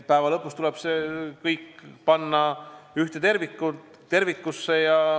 See kõik tuleb panna ühte tervikusse.